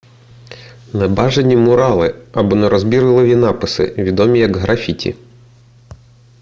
небажані мурали або нерозбірливі написи відомі як графіті